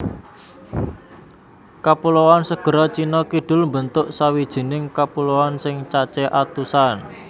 Kapuloan Segara Cina Kidul mbentuk sawijining kapuloan sing cacé atusan